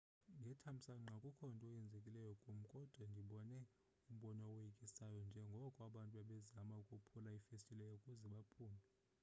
ngethamsanqa akukho nto yenzekileyo kum kodwa ndibone umbono owoyikisayo njengoko abantu bebezama ukophula iifestile ukuze baphume